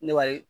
Ne b'a ye